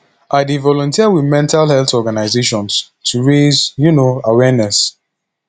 i dey volunteer with mental health organizations to raise um awareness